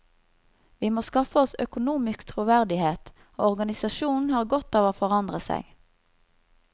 Vi må skaffe oss økonomisk troverdighet, og organisasjonen har godt av å forandre seg.